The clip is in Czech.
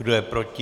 Kdo je proti?